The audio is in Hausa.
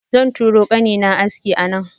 Zan turo kanina aski a nan.